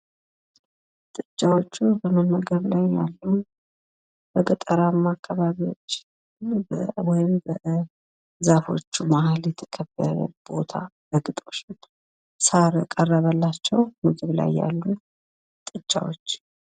ጥጃዎቹ በመመገብ ላይ ነው ያሉ፥ በገጠራማ አከባቢዎች ወይም በዛፎቹ መሃል የተከበበ ቦታ በግጦሽ ላይ፣ ሳር የቀረበላቸዉ ምግብ ላይ ያሉ ጥጃዎች፡፡